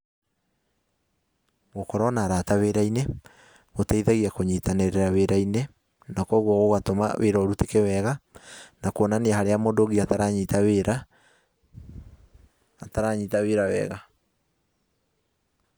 Gũkorwo na arata wĩra-inĩ, gũteithagia kũnyitanĩrĩra wĩra-inĩ, na koguo gũgatũma wĩra ũrutĩke wega, na kuonania harĩa mũndũ ũngĩ ataranyita wĩra wega.